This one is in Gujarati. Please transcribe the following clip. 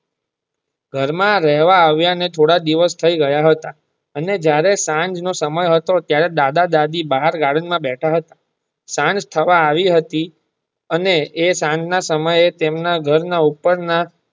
ઘર માં રહેવા આવિયા ને થોડા દિવશ થાય ગયા હતા અને જયારે સાંજ નો સમય હતો ત્યારે દાદા દાદી ભાર ગાર્ડન માં બેઠા હતા સાંજ થવા આવી હતી અને એ સાંજ ના સમયે તેના ઘર ના ઉપર ના.